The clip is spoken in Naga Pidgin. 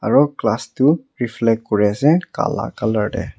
Aro glass toh reflect kuri ase kala colour te.